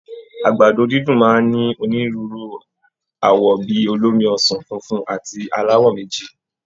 Àgbàdo dídùn máa ń ní onírúurú àwọ̀ bí i olómi ọsàn, funfun àti aláwọ̀ méjì